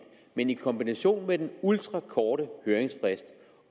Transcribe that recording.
men i kombination med den ultrakorte høringsfrist